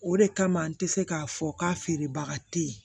O de kama n te se k'a fɔ k'a feerebaga te ye